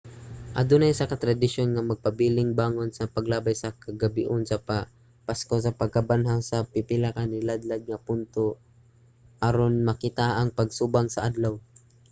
adunay usa ka tradisyon nga magpabiling bangon sa paglabay sa kagabhion sa pasko sa pagkabanhaw sa pipila ka naladlad nga punto aron makita ang pagsubang sa adlaw